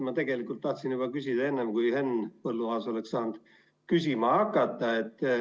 Ma tegelikult tahtsin küsida juba enne, kui Henn Põlluaas sai küsima hakata.